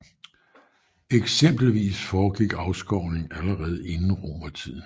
Eksempelvis foregik afskovning allerede inden romertiden